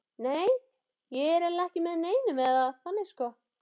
Nei, ég er eiginlega ekki með neinum, eða þannig sko.